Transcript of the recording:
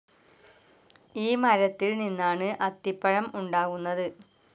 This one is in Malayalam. ഈ മരത്തിൽ നിന്നാണ് അത്തിപ്പഴം ഉണ്ടാകുന്നത്.